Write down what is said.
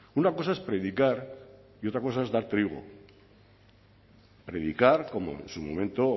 una cosa es predicar y otra cosa es dar trigo predicar como en su momento